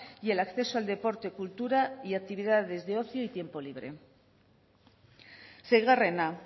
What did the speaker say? y el acceso al deporte cultura y actividades de ocio y tiempo libre seigarrena